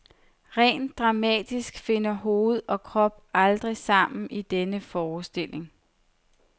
Rent dramatisk finder hoved og krop aldrig sammen i denne forestilling.